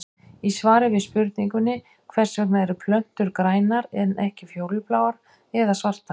Í svari við spurningunni Hvers vegna eru plöntur grænar en ekki fjólubláar eða svartar?